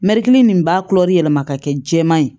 Mɛrigini nin b'a yɛlɛma ka kɛ jɛman ye